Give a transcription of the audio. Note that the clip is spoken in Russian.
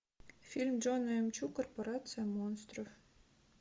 фильм джона м чу корпорация монстров